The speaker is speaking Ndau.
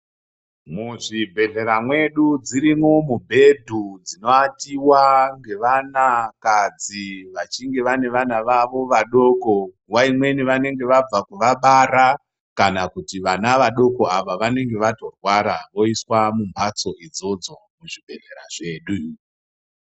Muzvibhedhlera mwedu dzirimwo mibhedhu, dzinoatiwa ngevanakadzi vachinge vane vana vavo vadoko. Nguwa imweni vanenge vabva kuvabara, kana kuti vana vadoko ava vanenge vatorwara ,voiswa mumhatso idzodzo, muzvibhedhlera zvedu.